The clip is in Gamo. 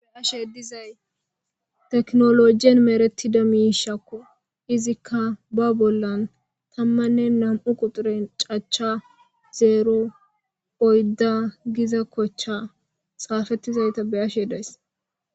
Be7ashe dizay teknoloojjen merettida miishakko. Izikka ba bollan tammanne nam7u quxure cacha zeero oydda giza kochcha xaafettizayta beyashe days.